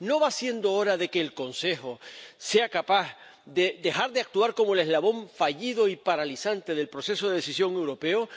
¿No va siendo hora de que el Consejo sea capaz de dejar de actuar como el eslabón fallido y paralizante del proceso de decisión europeo?